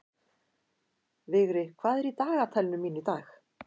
Vigri, hvað er í dagatalinu mínu í dag?